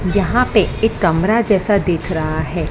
यहाँ पे एक कमरा जैसा दिख रहा हैं।